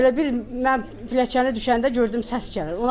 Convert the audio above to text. Elə bil mən pilləkəni düşəndə gördüm səs gəlir.